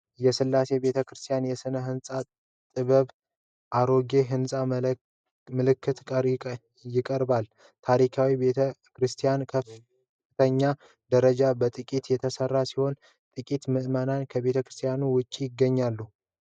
የሥላሴ ቤተ ክርስቲያን የሥነ-ሕንፃ ጥበብ በአሮጌ ሕንፃ መልክ ይቀርባል። ታሪካዊው ቤተ ክርስቲያን በከፍተኛ ደረጃ በጥንቃቄ የተሰራ ሲሆን፣ ጥቂት ምእመናን ከቤተ ክርስቲያኑ ውጪ ይገኛሉ።